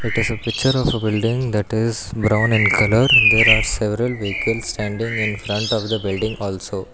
it is a picture of a building that is brown and colour there are several vehicle standing in front of the building also--